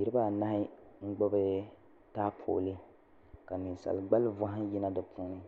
niriba a nahi n gbubi taapoli ka ninsali gbali vihi n yina di puuni